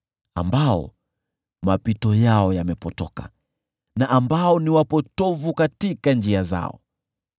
ambao mapito yao yamepotoka na ambao ni wapotovu katika njia zao.